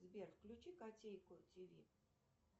сбер включи котейку тв